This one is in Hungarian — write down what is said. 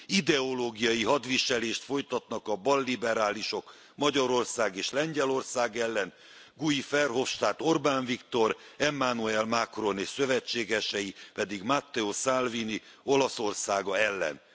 Ideológiai hadviselést folytatnak a balliberálisok Magyarország és Lengyelország ellen, Guy Verhofstadt Orbán Viktor, Emmanuel Macron és szövetségesei pedig Matteo Salvini Olaszországa ellen.